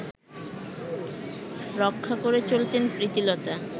রক্ষা করে চলতেন প্রীতিলতা